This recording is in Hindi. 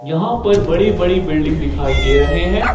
यहां पर बड़ी बड़ी बिल्डिंग दिखाई दे रहे हैं।